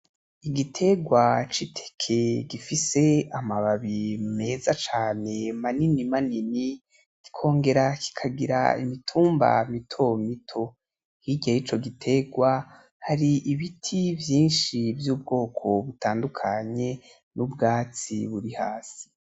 Igitegwa c'iteke gifise amababi meza cane manini manini, kikongere kikagira imitumba mitomito, hirya yico gitegwa hari ibiti vyinshi vy'ubwoko butandukanye n'ubwatsi buri hasi.